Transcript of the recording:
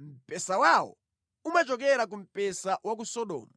Mpesa wawo umachokera ku mpesa wa ku Sodomu